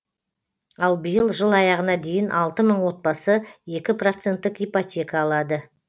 ал биыл жыл аяғына дейін алты мың отбасы екі проценттік ипотека алады